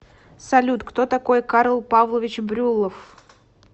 салют кто такой карл павлович брюллов